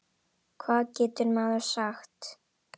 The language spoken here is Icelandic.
Hvað getur maður sagt.